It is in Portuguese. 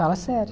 Fala sério.